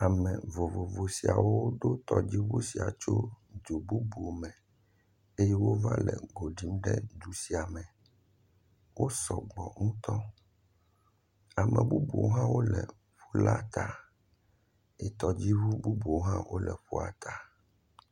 Ame vovovo siawo do tɔdziŋu sia tso du bubu me eye wova le go ɖim ɖe du sia me. Wo sɔgbɔ ŋutɔ. Ame bubuwo hã le ƒula ta eye tɔdziŋu bubuwo hã wole ƒua ta.